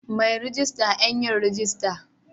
Mai rejista Yan yin rajista